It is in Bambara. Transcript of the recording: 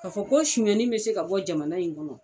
Ka fɔ ko sɔnali bɛ se ka bɔ jamana in kɔnɔ.